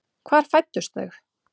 Hvar fæddust þau?